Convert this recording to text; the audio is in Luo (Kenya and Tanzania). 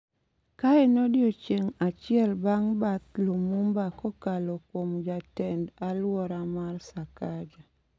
ka en odiechieng’ achiel bang’ bath Limumba kokalo kuom Jatend-alwora, Mary Sakaja,